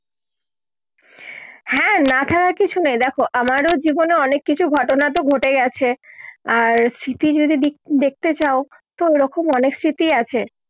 হ্যাঁ না থাকার কিছু নেই দেখো আমারও জীবনে অনেক কিছু ঘটনা ঘটে গেছে আর স্মৃতি যদি দেখতে দিক দেখতে চাও তো ও রকম অনেক স্মৃতি আছে